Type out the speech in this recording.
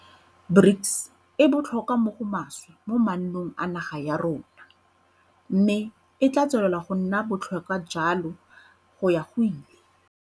BRICS e botlhokwa mo go maswe mo maanong a naga ya rona, mme e tla tswelela go nna botlhokwa jalo go ya go ile.